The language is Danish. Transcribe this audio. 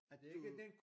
At du